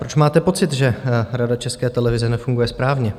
Proč máte pocit, že Rada České televize nefunguje správně?